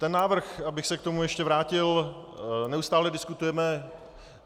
Ten návrh, abych se k tomu ještě vrátil, neustále diskutujeme.